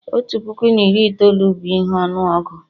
otu puku na iri itoolu bụ ihe ọnụọgụ